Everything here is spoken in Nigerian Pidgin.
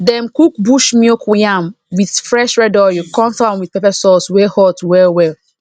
dem cook bush milk yam with fresh red oil come serve am with pepper sauce wey hot well well